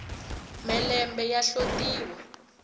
mhelembe ya hlotiwa